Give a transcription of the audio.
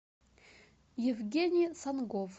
евгений сангов